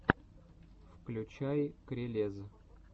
включай крелез